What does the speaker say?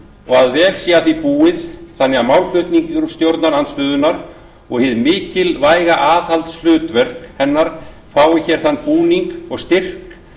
og að vel sé að því búið þannig að málflutningur stjórnarandstöðu og hið mikilvæga aðhaldshlutverk hennar fái hér þann búning og styrk